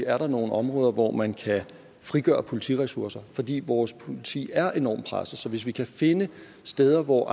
er nogle områder hvor man kan frigøre politiressourcer fordi vores politi er enormt presset hvis vi kan finde steder hvor